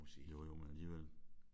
Jo jo men alligevel